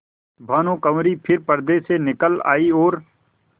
भानुकुँवरि फिर पर्दे से निकल आयी और